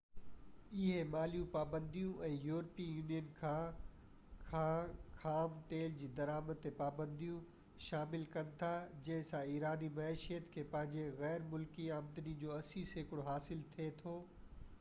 اهي مالي پابنديون ۽ يورپين يونين کان کان خام تيل جي درآمد تي پاپنديون شامل ڪن ٿا جنهن سان ايراني معيشت کي پنهنجي غير ملڪي آمدني جو 80% حاصل ٿئي ٿو